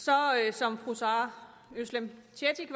som fru özlem